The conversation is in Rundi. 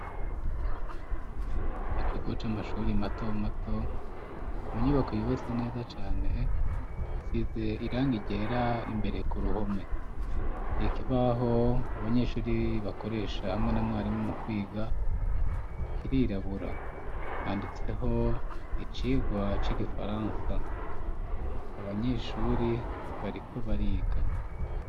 Mukigo c'amashuri mato mato, mu nyubako yubase neza cane, isize irangi ryera imbere ku ruhome ,ikibaho abanyeshuri bakoresha hamwe na mwarimu mu kwiga, kirirabura handitseho icigwa c'igifaransa, abanyeshuri bariko bariga.